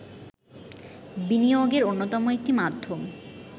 বিনিয়োগের অন্যতম একটি মাধ্যম